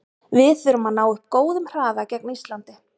Við þurfum að ná upp góðum hraða gegn Íslandi.